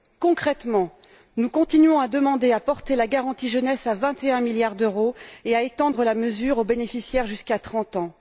Concrètement, nous continuons à demander à porter la garantie jeunesse à 21 milliards d'euros et à étendre la mesure aux bénéficiaires jusqu'à 30 ans.